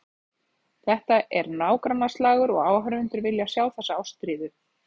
Þetta er nágrannaslagur og áhorfendur vilja sjá þessa ástríðu.